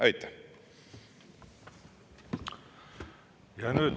Aitäh!